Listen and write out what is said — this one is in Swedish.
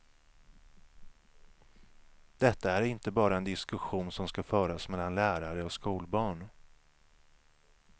Detta är inte bara en diskussion som ska föras mellan lärare och skolbarn.